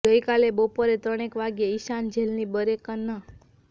ગઇકાલે બપોરે સાડા ત્રણેક વાગ્યે ઇશાન જેલની બેરેક નં